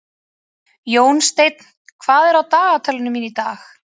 Jónsteinn, hvað er á dagatalinu mínu í dag?